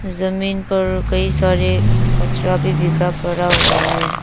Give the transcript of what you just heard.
जमीन पर कई सारे कचरा भी बिखरा पड़ा हुआ है।